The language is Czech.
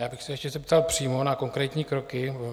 Já bych se ještě zeptal přímo na konkrétní kroky.